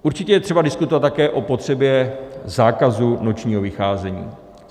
Určitě je třeba diskutovat také o potřebě zákazu nočního vycházení.